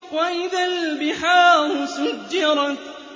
وَإِذَا الْبِحَارُ سُجِّرَتْ